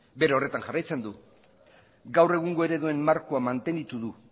bere horretan jarraitzen gaur egungo ereduen markoa mantenitu du